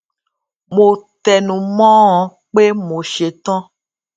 mo tẹnu mó ọn pé mo ṣe tán